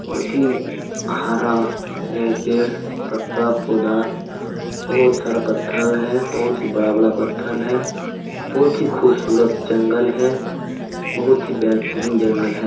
बहुत ही हरा है पेड़ पत्ता पौधा बहुत सारा पत्थर है बहुत हीं बड़ा-बड़ा पत्थर है बहुत ही खूबसूरत जंगल है बहुत हीं बेहतरीन जंगल है।